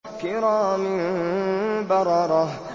كِرَامٍ بَرَرَةٍ